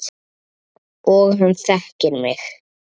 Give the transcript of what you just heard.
Og hann þekkir mig.